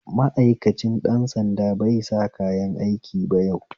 Ma'aikancin ɗan sanda baisa kayanaiki ba yau